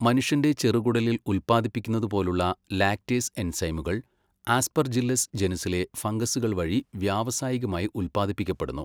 മനുഷ്യന്റെ ചെറുകുടലിൽ ഉൽപ്പാദിപ്പിക്കുന്നതുപോലുള്ള ലാക്റ്റേസ് എൻസൈമുകൾ ആസ്പർജില്ലസ് ജനുസ്സിലെ ഫംഗസുകൾ വഴി വ്യാവസായികമായി ഉൽപ്പാദിപ്പിക്കപ്പെടുന്നു.